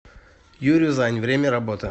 юрюзань время работы